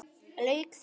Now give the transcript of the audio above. Lauk því.